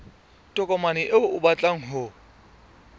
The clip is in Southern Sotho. tokomane eo o batlang ho